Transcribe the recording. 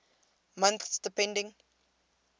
months depending